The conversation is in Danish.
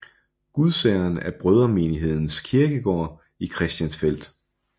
Gudsageren er Brødremenighedens kirkegård i Christiansfeld